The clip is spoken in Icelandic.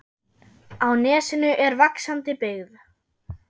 Á nesinu er vaxandi byggð.